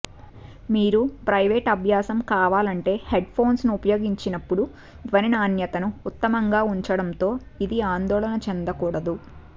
మీరు ప్రైవేట్ అభ్యాసం కావాలంటే హెడ్ఫోన్లను ఉపయోగించినప్పుడు ధ్వని నాణ్యతను ఉత్తమంగా ఉంచడంతో ఇది ఆందోళన చెందకూడదు